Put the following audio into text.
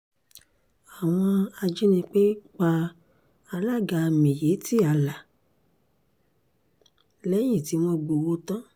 àwọn ajínigbé pa alága miyetti allah lẹ́yìn tí wọ́n gbowó tán